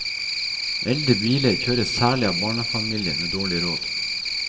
Eldre biler kjøres særlig av barnefamilier med dårlig råd.